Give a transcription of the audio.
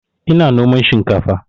Ina noman shinkafa